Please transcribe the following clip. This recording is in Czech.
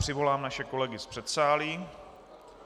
Přivolám naše kolegy z předsálí.